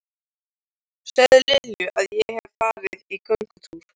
Segðu Lilju að ég hafi farið í göngutúr.